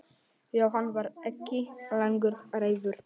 Jóhann var ekki lengur reiður.